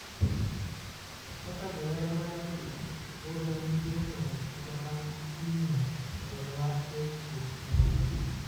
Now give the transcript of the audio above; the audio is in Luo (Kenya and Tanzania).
Kaka johera mag adhula pod wan gi geno kata bang timno rodhowa adek kuom amodhi